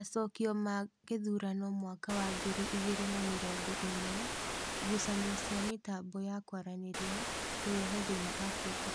Macokio ma gĩthurano mwaka wa ngiri igĩri na mĩrongo ĩmwe:ngucanio cia mĩtambo ya kwaranĩria kureta thĩĩna Afrika